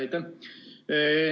Aitäh!